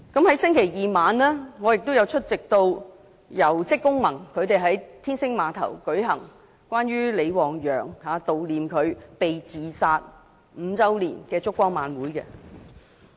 在星期二晚上，我也出席了香港職工會聯盟在天星碼頭舉行關於悼念李旺陽被自殺5周年的燭光晚會。